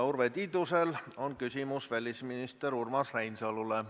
Urve Tiidusel on küsimus välisminister Urmas Reinsalule.